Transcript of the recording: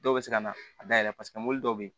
Dɔw bɛ se ka na a dayɛlɛ paseke mobili dɔw bɛ yen